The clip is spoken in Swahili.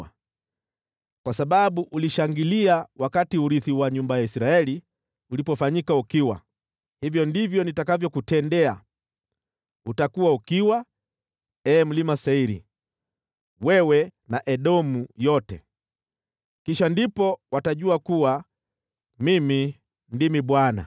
Kwa sababu ulishangilia wakati urithi wa nyumba ya Israeli ulipofanyika ukiwa, hivyo ndivyo nitakavyokutendea. Utakuwa ukiwa, ee mlima Seiri, wewe na Edomu yote. Kisha ndipo watajua kuwa Mimi ndimi Bwana .’”